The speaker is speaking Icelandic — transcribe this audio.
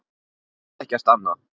Það þýddi ekkert annað.